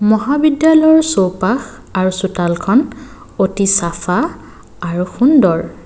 মহাবিদ্যালয়ৰ চৌপাশ আৰু চোতালখন অতি চাফা আৰু সুন্দৰ।